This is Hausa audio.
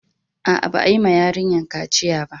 Aa, ba yi ma yarinyan kaciya ba.